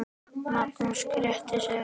Magnús gretti sig.